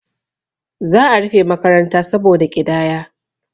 za a rufe makaranta saboda ƙidaya